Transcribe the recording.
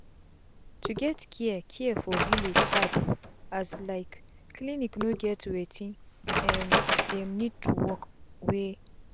to get care care for village hard o as like clinic no get wetin um dem need to work wey